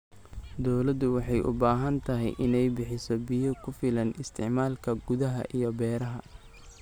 Dawladdu waxay u baahan tahay inay bixiso biyo ku filan isticmaalka gudaha iyo beeraha.